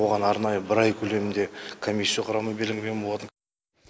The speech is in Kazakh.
оған арнайы бір ай көлемінде комиссия құрамы белгіленген болатын